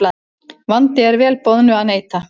Vandi er vel boðnu að neita.